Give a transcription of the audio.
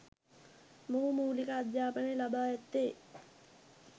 මොහු මූලික අධ්‍යාපනය ලබා ඇත්තේ